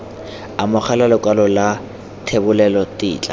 amogela lekwalo la thebolelo tetla